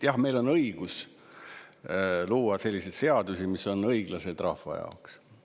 Jah, meil on õigus luua selliseid seadusi, mis on õiglased rahva jaoks.